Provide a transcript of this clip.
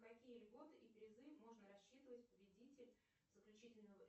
какие льготы и призы можно рассчитывать победитель заключительного